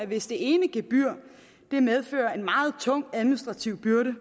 hvis det ene gebyr medfører en meget tung administrativ byrde